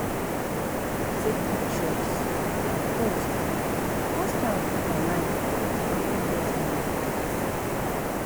Take pictures post post am online make dem fit get more support